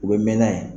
U bɛ mɛn n'a ye